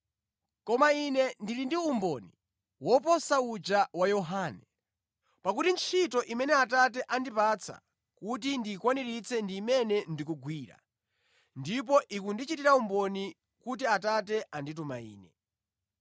“Koma Ine ndili ndi umboni woposa uja wa Yohane. Pakuti ntchito imene Atate andipatsa kuti ndiyikwaniritse ndi imene ndikugwira, ndipo ikundichitira umboni kuti Atate andituma Ine.